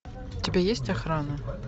у тебя есть охрана